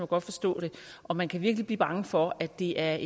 godt forstå det og man kan virkelig blive bange for at det er